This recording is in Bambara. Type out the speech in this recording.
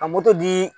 Ka moto dii